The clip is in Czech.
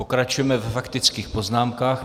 Pokračujeme ve faktických poznámkách.